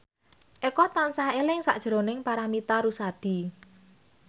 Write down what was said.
Eko tansah eling sakjroning Paramitha Rusady